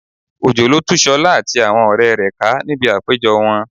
Òjò lo tú Ṣọlá àti àwọn ọ̀rẹ́ rẹ̀ ká níbi àpéjọ wọn